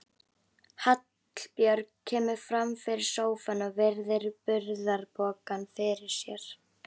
Hallbjörg kemur fram fyrir sófann og virðir burðarpokann fyrir sér.